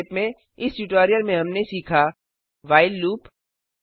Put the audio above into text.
संक्षेप में इस ट्यूटोरियल में हमने सीखा व्हाइल लूप